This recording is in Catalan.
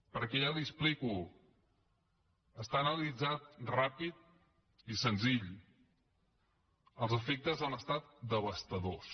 perquè ja li ho explico està analitzat ràpid i senzillament els efectes han estat devastadors